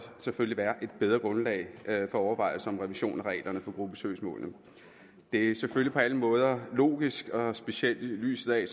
selvfølgelig være et bedre grundlag for overvejelser om revision af reglerne for gruppesøgsmål det er selvfølgelig på alle måder logisk og specielt i lyset af